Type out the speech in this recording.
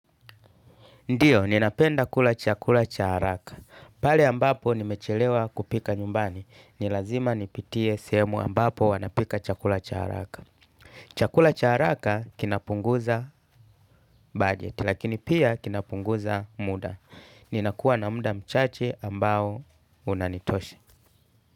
Ndiyo, ninapenda kula chakula cha haraka. Pale ambapo nimechelewa kupika nyumbani. Ni lazima nipitie sehemu ambapo wanapika chakula cha haraka. Chakula cha haraka kinapunguza budget, lakini pia kinapunguza muda. Ninakuwa na muda mchache ambao unanitosha.